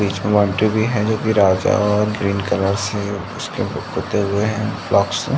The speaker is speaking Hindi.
बीच में बाउन्ड्री भी है जो कि और ग्रीन कलर से उसके पोते हुए है। से।